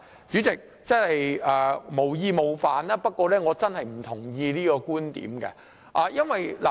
主席，我無意冒犯，不過我真的不同意這個觀點。